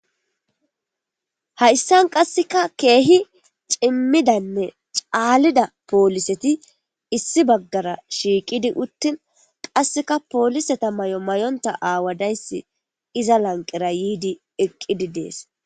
hayssan qasseka keehi cimmidanne caalida pooliseti issi baggara shiiqidi uttin qasseka pooliseta may7o may7onta aawadayssi iza lanqera yiidi eqqidi dees